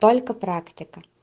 только практика